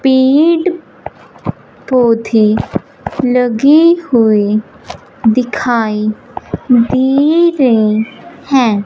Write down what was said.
पेड़ पौधे लगे हुए दिखाई दे रहे हैं।